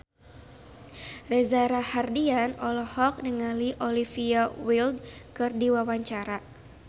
Reza Rahardian olohok ningali Olivia Wilde keur diwawancara